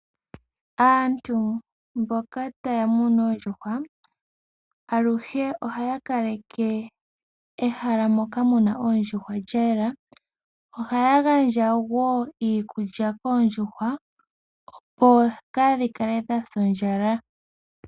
Aantu mboka taya munu oondjuhwa, aluhe ohaya kaleke ehala moka mu na oondjuhwa lya yela. Ohaya gandja wo iikulya koondjuhwa, opo kaadhi kale dha sa ondjala.